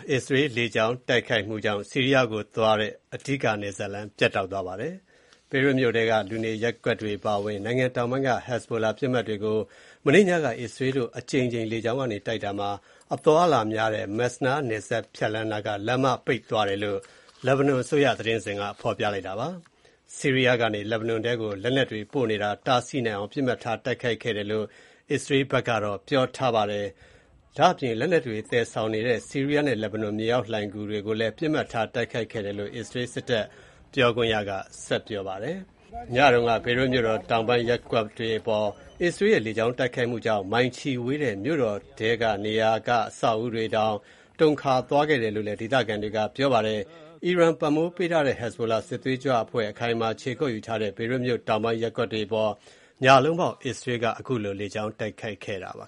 အစ္စရေးလေကြောင်းတိုက်ခိုက်မှုကြောင့် ဆီးရီးယားကိုသွားတဲ့ အဓိက နယ်စပ်လမ်း ပြတ်တောက်သွားပါတယ်။ ဘေရွတ်မြို့ထဲက လူနေရပ်ကွက်အပါအဝင် နိုင်ငံတောင်ပိုင်းက Hezbollah ပစ်မှတ်တွေကို မနေ့ညက အစ္စရေးတို့ အကြိမ်ကြိမ်လေကြောင်းတိုက်ခိုက်တာမှာ အသွားအလာများတဲ့ Masnaa နယ်စပ်ဖြတ်လမ်းနားက လမ်းမ ပိတ်သွားတယ်လို့ လက်ဘနွန် အစိုးရသတင်းစဉ်က ပြောတာပါ။ ဆီးရီးယားကနေ လက်ဘနွန်ထဲကို လက်နက်တွေ ပို့နေတာ တားဆီးနိုင်အောင် ပစ်မှတ်ထားတိုက်ခိုက်တယ်လို့ အစ္စရေးက ပြောပါတယ်။ လက်နက်တွေ သယ်ဆောင်နေတဲ့ ဆီးရီးယားနဲ့ လက်ဘနွန် မြေအောက်လှိုဏ်ဂူတွေကိုလည်း ပစ်မှတ်ထားတိုက်ခိုက်ခဲ့တယ်လို့ ပြောပါတယ်။ ညတုန်းက ဘေရွတ်မြို့တော် တောင်ပိုင်း ရပ်ကွက်တွေအပေါ် အစ္စရေးရဲ့ လေကြောင်းတိုက်ခိုက်မှုကြောင့် မိုင်ချီဝေးတဲ့ မြို့တော်ထဲက နေရာတွေက အဆောက်အဦးတွေတောင် တုန်ခါခဲ့တယ်လို့ ဒေသခံတွေက ပြောပါတယ်။ အီရန်ပံ့ပိုးထားတဲ့ Hezbollah စစ်သွေးကြွအဖွဲ့ အခိုင်အမာ ခြေကုပ်ယူထားတဲ့ ဘေရွတ်မြို့တောင်ပိုင်း ရပ်ကွက်တွေအပေါ် ညလုံးပေါက် အစ္စရေးက တိုက်ခိုက်ခဲ့တာပါ